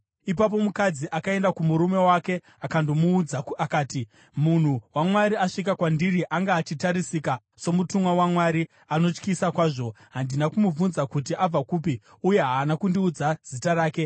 Ipapo mukadzi akaenda kumurume wake akandomuudza akati, “Munhu waMwari asvika kwandiri. Anga achiratidzika somutumwa waMwari, anotyisa kwazvo. Handina kumubvunza kuti abva kupi, uye haana kundiudza zita rake.